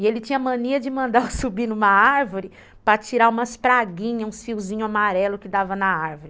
E ele tinha mania de mandar eu subir numa árvore para tirar umas praguinhas, uns fiozinhos amarelos que dava na árvore.